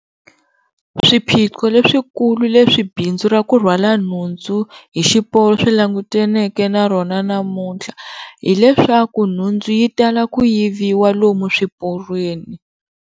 Swiphiqo leswikulu leswi bindzu ra ku rhwala nhundzu hi xiporo swi languteneke na rona namuntlha hileswaku nhundzu yi tala ku yiviwa lomu swiporweni.